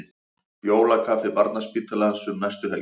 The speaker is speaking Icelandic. Jólakaffi Barnaspítalans um næstu helgi